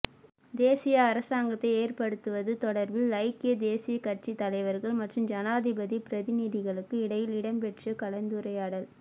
தேசிய அரசாங்கத்தை ஏற்படுத்துவது தொடர்பில் ஐக்கிய தேசிய கட்சி தலைவர்கள் மற்றும் ஜனாதிபதி பிரதிநிதிகளுக்கு இடையில் இடம்பெற்ற கலந்துரையாடல்